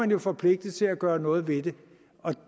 man forpligtet til at gøre noget ved det og